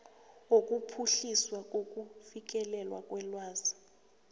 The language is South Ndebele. wokuphuhliswa kokufikelelwa kwelwazi